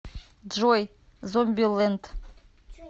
джой зомби ленд